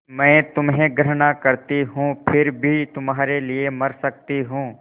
मैं तुम्हें घृणा करती हूँ फिर भी तुम्हारे लिए मर सकती हूँ